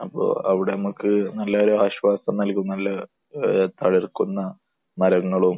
അപ്പോൾ അവിടെ നമുക്ക് നല്ലൊരു ആശ്വാസം നൽകുമെന്നുള്ള ഏഹ് തളിർക്കുന്ന മരങ്ങളും